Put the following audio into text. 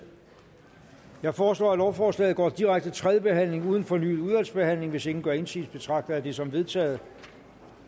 jeg foreslår at lovforslaget går direkte til tredje behandling uden fornyet udvalgsbehandling hvis ingen gør indsigelse betragter jeg det som vedtaget